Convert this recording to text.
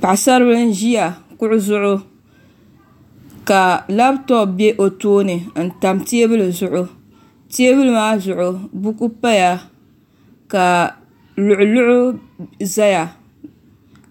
Paɣisaribila n-ʒiya kuɣa zuɣu ka labitɔpu be o tooni n-tam teebuli zuɣu teebuli maa zuɣu buku paya ka luɣuluɣu zaya